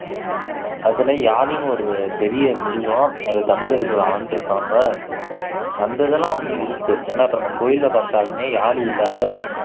அதுல யாழின்னு ஒரு பெரிய மிருகம் அதை தமிழர்கள் ஆண்டுருப்பாங்க அந்த இதெல்லாம் வந்து இருக்கு ஏன்னா இப்போ நம்ம கோவில்ல பார்த்தாலுமே யாழி இல்லாத